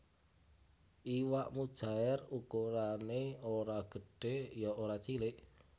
Iwak mujaèr ukurané ora gedhé ya ora cilik